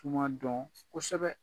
Tuma dɔn kosɛbɛ